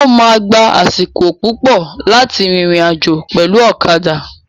O ma gbà àsìkò púpọ láti rìnrìn àjò pẹlu ọ̀kadà.